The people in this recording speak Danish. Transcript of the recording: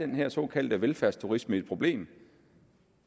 den her såkaldte velfærdsturisme er et problem